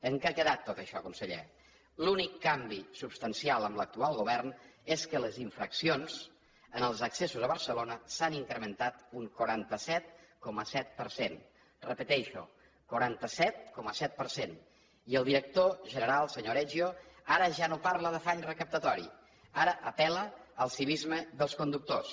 en què ha quedat tot això conseller l’únic canvi substancial amb l’actual govern és que les infraccions en els accessos a barcelona s’han incrementat un quaranta set coma set per cent ho repeteixo quaranta set coma set per cent i el director general senyor aregio ara ja no parla d’afany recaptatori ara apel·la al civisme dels conductors